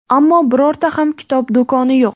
Ammo birorta ham kitob do‘koni yo‘q.